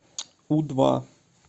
у два